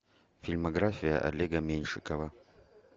фильмография олега меньшикова